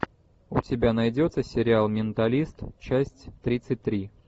у тебя найдется сериал менталист часть тридцать три